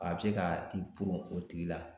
A bi se ka i poron o tigi la.